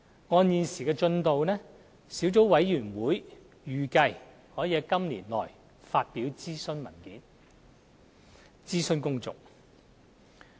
根據現時的進度，小組委員會預計可以在今年內發表諮詢文件，諮詢公眾。